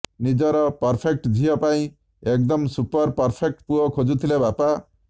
ନିଜ ପରଫେକ୍ଟ୍ ଝିଅ ପାଇଁ ଏକଦମ୍ ସୁପର୍ ପରଫେକ୍ଟ ପୁଅ ଖୋଜୁଥିଲେ ପାପା